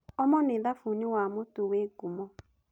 Omo nĩ thabuni wa mũtu wĩ ngumo.